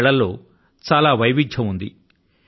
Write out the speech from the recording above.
ఈ కళల్లో చాలా వైవిధ్యం ఉంది